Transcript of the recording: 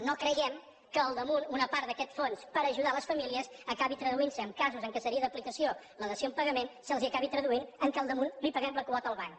no creiem que a sobre una part d’aquest fons per ajudar les famílies acabi traduint se en casos en què seria d’aplicació la dació en pagament se’ls acabi traduint en que a sobre li paguem la quota al banc